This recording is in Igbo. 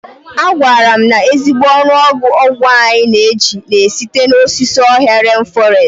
A gwara m na ezigbo ọnụọgụ ọgwụ anyị na-eji na-esite n'osisi ọhịa ren fọrestị.